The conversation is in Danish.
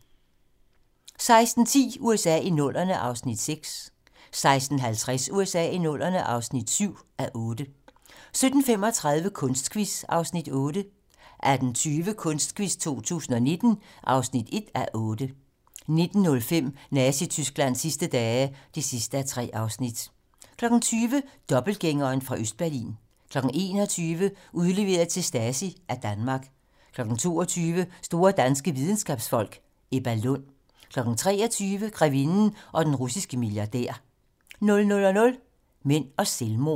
16:10: USA i 00'erne (6:8) 16:50: USA i 00'erne (7:8) 17:35: Kunstquiz (Afs. 8) 18:20: Kunstquiz 2019 (1:8) 19:05: Nazi-Tysklands sidste dage (3:3) 20:00: Dobbeltgængeren fra Østberlin 21:00: Udleveret til Stasi af Danmark 22:00: Store danske videnskabsfolk: Ebba Lund 23:00: Grevinden og den russiske milliardær 00:00: Mænd og selvmord